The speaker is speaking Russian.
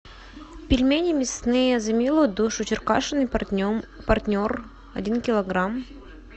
пельмени мясные за милую душу черкашин и партнер один килограмм